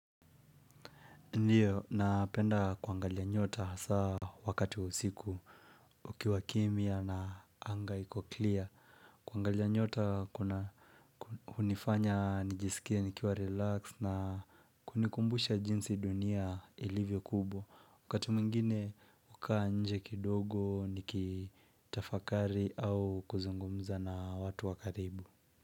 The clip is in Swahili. Ndiyo napenda kuangalia nyota hasa wakati wa usiku Ukiwa kimya na anga iko clear kuangalia nyota kuna unifanya nijisikie nikiwa relaxed na kunikumbusha jinsi dunia ilivyo kubwa Wakati mwingine hukaa nje kidogo nikitafakari au kuzungumza na watu wa karibu.